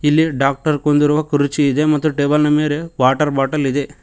ಇಲ್ಲಿ ಡಾಕ್ಟರ್ ಕೂರುವ ಕುರ್ಚಿ ಇದೆ ಹಾಗೆ ಟೇಬಲ್ ಮೇಲೆ ವಾಟರ್ ಬಾಟಲ್ ಇದೆ.